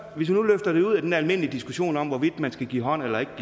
vi så løfter det ud af den almindelige diskussion om hvorvidt man skal give hånd eller ikke